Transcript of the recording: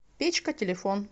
печка телефон